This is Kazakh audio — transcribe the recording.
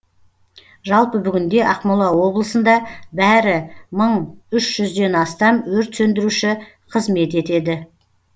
жалпы бүгінде ақмола облысында бәрі мың үш жүзден астам өрт сөндіруші қызмет етеді